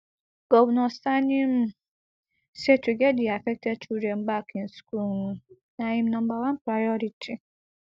governor sani um say to get di affected children back in school um na im number one priority